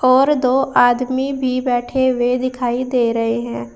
और दो आदमी भी बैठे हुए दिखाई दे रहे हैं।